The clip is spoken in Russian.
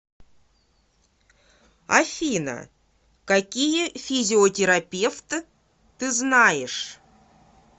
афина какие физиотерапевт ты знаешь